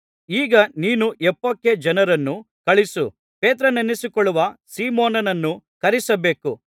ಈಗ ನೀನು ಯೊಪ್ಪಕ್ಕೆ ಜನರನ್ನು ಕಳುಹಿಸಿ ಪೇತ್ರನೆನಿಸಿಕೊಳ್ಳುವ ಸೀಮೋನನನ್ನು ಕರೆಯಿಸಬೇಕು